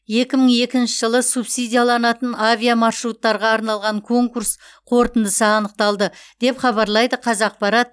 екі мың екінші жылы субсидияланатын авиамаршруттарға арналған конкурс қорытындысы анықталды деп хабарлайды қазақпарат